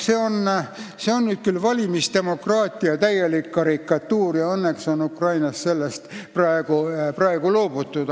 See on nüüd küll valimisdemokraatia täielik karikatuur ja õnneks on Ukrainas sellest loobutud.